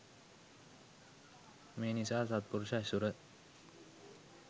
මේ නිසා අසත්පුරුෂ ඇසුර